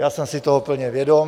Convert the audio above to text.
Já jsem si toho plně vědom.